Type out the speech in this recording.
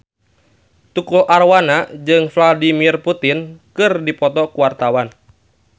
Tukul Arwana jeung Vladimir Putin keur dipoto ku wartawan